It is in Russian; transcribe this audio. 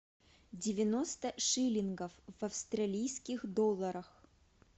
девяносто шиллингов в австралийских долларах